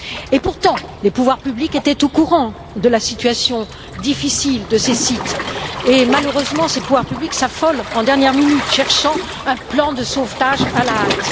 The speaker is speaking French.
Et pourtant, les pouvoirs publics étaient au courant de la situation difficile de ces sites et malheureusement ces pouvoirs publics s'affolent en dernière minute, cherchant un plan de sauvetage à la hâte.